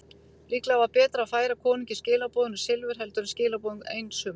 Líklega var betra að færa konungi skilaboðin og silfur heldur en skilaboðin einsömul.